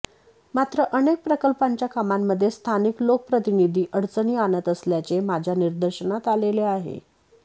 मात्र अनेक प्रकल्पांच्या कामांमध्ये स्थानिक लोकप्रतिनिधी अडचणी आणत असल्याचे माझ्या निदर्शनास आलेले आहे